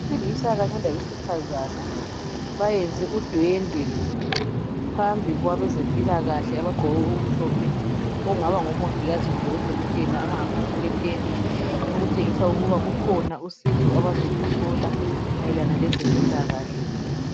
Abesilisa kanye labesifazana bayenze udwendwe phambi kwabezempilakahle abagqoke okumhlophe okungaba ngomongikazi kumbe odokotela abangaphansi kwetende okutshengisa ukuba kukhona uncedo abazoluthola mayelana lezempilakahle.